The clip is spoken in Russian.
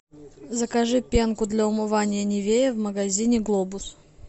закажи пенку для умывания нивея в магазине глобус